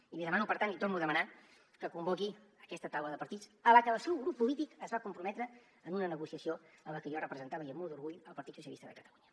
i li demano per tant li ho torno a demanar que convoqui aquesta taula de partits a la que el seu grup polític es va comprometre en una negociació en la que jo representava i amb molt d’orgull el partit socialistes de catalunya